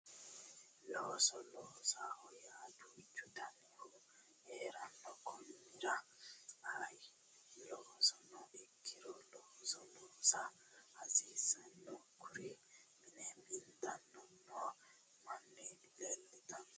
Looso loosoho yaa duuchu danihu heeranno konnira ayee loosono ikkiro looso loosa hasiissanno kuri mine mintanni noo manni leeltanno yaate